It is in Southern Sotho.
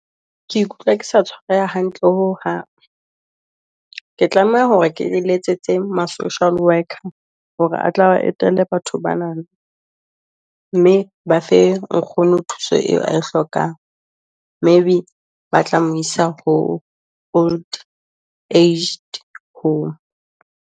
Ke ikutlwa ke sa tshwareha hantle ho hang, ke tlameha hore ke letsetse ma social worker, hore a tla ba etelle batho bana, mme ba fe nkgono thuso eo a e hlokang. Maybe ba tla mo isa ho Old Aged Home.